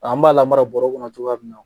An b'a lamara bɔrɛ kɔnɔ cogoya min na